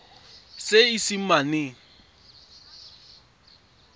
seesimane